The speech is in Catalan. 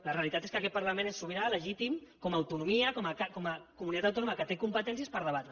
la realitat és que aquest parlament és sobirà legítim com a autonomia com a comunitat autònoma que té competències per debatre